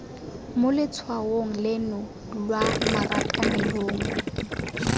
mo letshwaong leno lwa marakanelong